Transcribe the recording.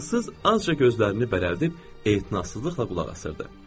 Fransız azca gözlərini bərəldib e'tinasızlıqla qulaq asırdı.